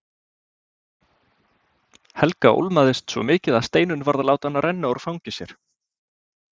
Helga ólmaðist svo mikið að Steinunn varð að láta hana renna úr fangi sér.